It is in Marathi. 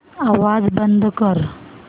आवाज बंद कर